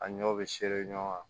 A ɲɔ bɛ ɲɔgɔn kan